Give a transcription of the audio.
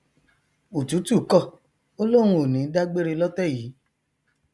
òtútù kọ ó lóun ò ní dá gbére lótẹ yìí